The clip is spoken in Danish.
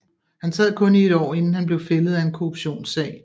Han sad kun i et år inden han blev fældet af en korruptionssag